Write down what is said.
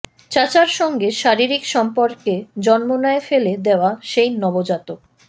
চাচার সঙ্গে শারীরিক সম্পর্কে জন্ম নেয় ফেলে দেওয়া সেই নবজাতক